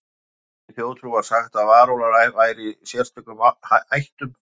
Í írskri þjóðtrú var sagt að varúlfar væru í sérstökum ættum.